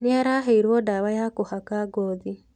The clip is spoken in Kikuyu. Nĩ araheirwo ndawa ya kũhaka ngothi.